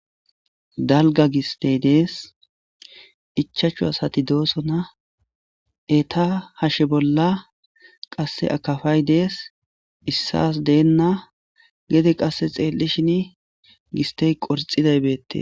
Dalga giste des ichachu asati dosona eta hashen bola qase akafay des isas dena gede qase xelishini giste qorxiday betes.